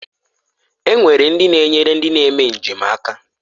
E nwere ndi na-enyere ndi na-eme njem aka.